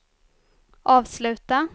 avsluta